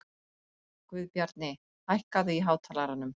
Guðbjarni, hækkaðu í hátalaranum.